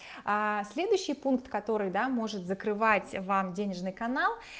а следующий пункт который да может закрывать вам денежный канал